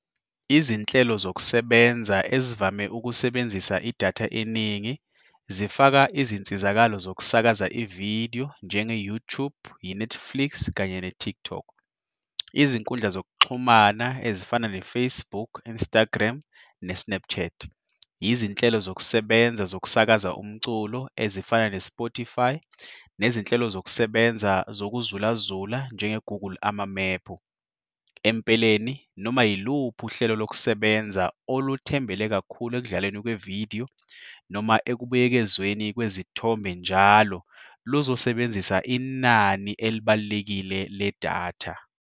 Izinhlelo zokusebenza ezivame ukusebenzisa idatha eningi zifaka izinsizakalo zokusakaza ividiyo njenge-YouTube, i-Netflix kanye ne-TikTok. Izinkundla zokuxhumana ezifana ne-Facebook, Instagram ne-Snapchat. Izinhlelo zokusebenza zokusakaza umculo ezifana ne-Spotify, nezinhlelo zokusebenza zokuzulaza njenge-Google Amamephu. Empeleni noma yiluphi uhlelo lokusebenza oluthembele kakhulu ekudlaleni kwevidiyo noma ekubuyekezweni kwezithombe njalo, luzosebenzisa inani elibalulekile ledatha.